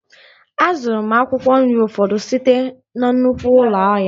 A zụrụ m akwụkwọ nri ụfọdụ site na nnukwu ụlọ ahịa